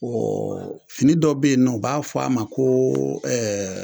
fini dɔ be yen nɔ u b'a fɔ a ma koo